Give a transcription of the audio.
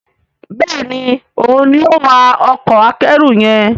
Béèni òun ní o wá Ọkọ̀ akẹ́rù yen.